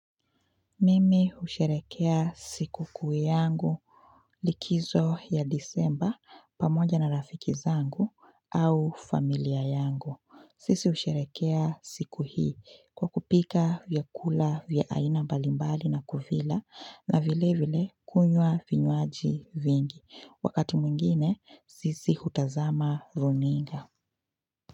Mimi husherekea sikukuu yangu likizo ya disemba pamoja na rafiki zangu au familia yangu. Sisi husherekea siku hii kwa kupika vyakula vya aina mbalimbali na kuvila na vile vile kunywa vinyuaji vingi. Wakati mwingine sisi hutazama runinga.